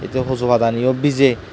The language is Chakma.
se huju pada gani u bije.